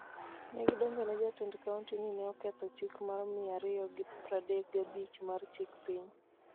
Ne gidonjone jatend kaonti ni ne oketho chik mar mia ariyo gi pradek gabich mar chik piny,